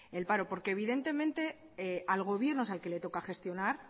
el paro porque evidentemente al gobierno es al que le toca gestionar